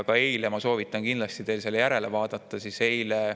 Ja ma soovitan kindlasti teil seda vaadata.